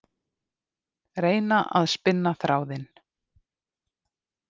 Reyna að spinna þráðinn